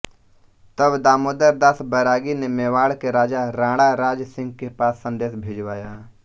तब दामोदर दास बैरागी ने मेवाड़ के राजा राणा राज सिंह के पास संदेश भिजवाया